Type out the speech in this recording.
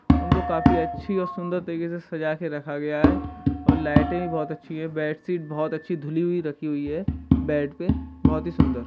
उनको काफी अच्छी और सुंदर तरीके से सजा कर रखा गया है और लाइटें भी बहुत अच्छी है | बेडशीट बहुत अच्छी धुली हुई रखी हुई है बेड पे बहुत ही सुंदर।